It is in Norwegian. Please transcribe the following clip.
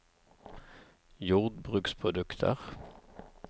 jordbruksprodukter